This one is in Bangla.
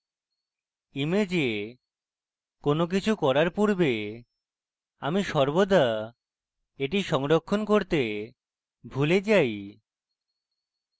image কোনো কিছু করার পূর্বে আমি সর্বদা এটি সংরক্ষণ করতে ভুলে যাই